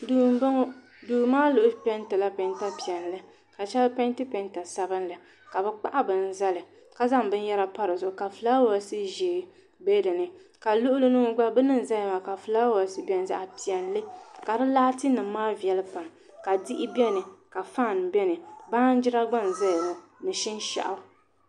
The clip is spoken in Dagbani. Duu n bɔŋɔ duu maa mii peentila peenta piɛlli ka shɛli peenti peenta sabinli ka bi kpahi bini zali ka zaŋ binyɛra pa dizuɣu ka fulaawaasi ʒiɛ bɛ dinni ka luɣuli ni ŋɔ gba bini n ʒɛya maa ka fulaawaasi biɛni zaɣ piɛlli ka di laati nim maa viɛli pam ka diɣi biɛni ka faan biɛni baanjira gba n ʒɛya ŋɔ ni shinshaɣu